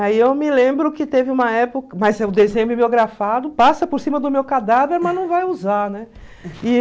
Aí eu me lembro que teve uma época, mas o desenho é bibliografado, passa por cima do meu cadáver, mas não vai usar, né?